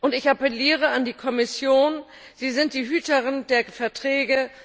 Und ich appelliere an die Kommission Sie sind die Hüterin der Verträge.